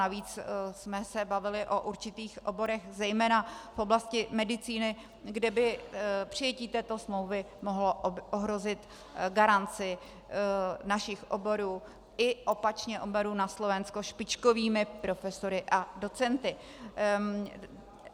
Navíc jsme se bavili o určitých oborech zejména v oblasti medicíny, kde by přijetí této smlouvy mohlo ohrozit garanci našich oborů i opačně oborů na Slovensku špičkovými profesory a docenty.